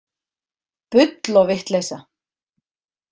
Bull og vitleysa